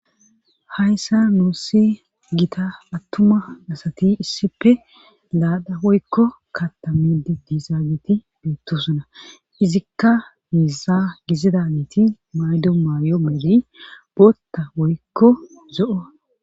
hayssa nuussi gita attuma asati issippe laaxa woykko katta midi diizaagiti beettosuna izikka miisa gizida miiti maydo maayo mayidi bootta woykko zo'o